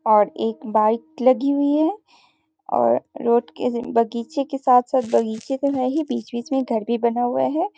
और एक बाइक लगी हुई है और रोड के बगीचे के साथ-साथ बगीचे तो हैं ही बीच-बीच में घर भी बना हुआ है।